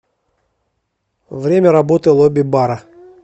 время работы лобби бара